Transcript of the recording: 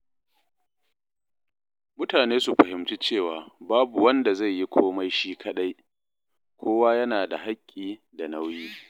Mutane su fahimci cewa babu wanda zai yi komai shi kaɗai; kowa yana da haƙƙi da nauyi.